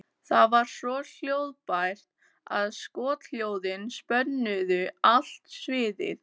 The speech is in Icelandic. Það var svo hljóðbært að skothljóðin spönnuðu allt sviðið.